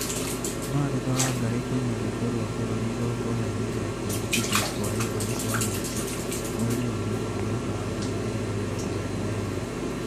Martha Wangari kũina rwĩmbo rwa bũrũri igongona-inĩ rĩa kwĩhĩtithio gwa Evans Wanyoike, mweri wa Mũgaa mwaka wa ngiri igĩrĩ na mĩrongo ĩrĩ na ĩmwe